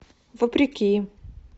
вопреки